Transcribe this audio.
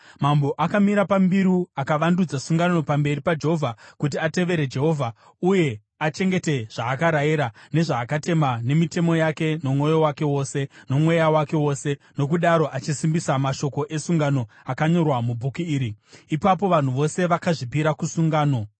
Mambo akamira pambiru akavandudza sungano pamberi paJehovha, kuti atevere Jehovha uye achengete zvaakarayira, nezvaakatema nemitemo yake nomwoyo wake wose, nomweya wake wose nokudaro achisimbisa mashoko esungano akanyorwa mubhuku iri. Ipapo vanhu vose vakazvipira kusungano.